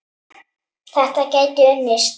Þetta gæti unnist.